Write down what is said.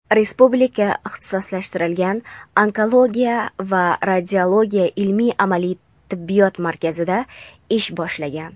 Respublika ixtisoslashtirilgan onkologiya va radiologiya ilmiy-amaliy tibbiyot markazida ish boshlagan.